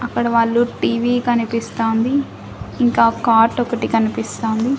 అక్కడ వాళ్ళు టీవీ కనిపిస్తోంది ఇంకా కాట్ ఒకటి కనిపిస్తుంది.